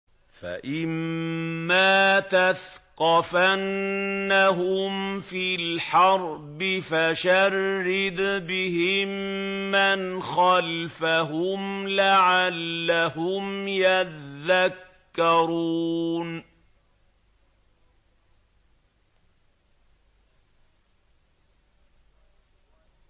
فَإِمَّا تَثْقَفَنَّهُمْ فِي الْحَرْبِ فَشَرِّدْ بِهِم مَّنْ خَلْفَهُمْ لَعَلَّهُمْ يَذَّكَّرُونَ